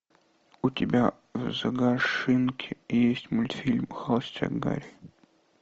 у тебя в загашнике есть мультфильм холостяк гари